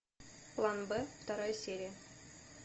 план б вторая серия